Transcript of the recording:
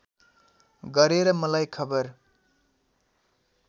गरेर मलाई खबर